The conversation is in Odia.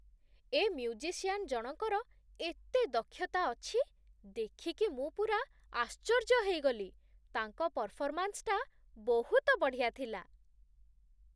ଏ ମ୍ୟୁଜିସିଆନ ଜଣଙ୍କର ଏତେ ଦକ୍ଷତା ଅଛି, ଦେଖିକି ମୁଁ ପୂରା ଆଶ୍ଚର୍ଯ୍ୟ ହେଇଗଲି । ତାଙ୍କ ପରଫର୍ମାନ୍ସଟା ବହୁତ ବଢ଼ିଆ ଥିଲା ।